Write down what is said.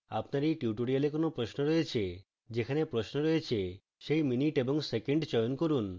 আপনি এই tutorial কোনো প্রশ্ন রয়েছে